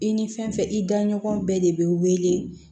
I ni fɛn fɛn i da ɲɔgɔn bɛɛ de be wele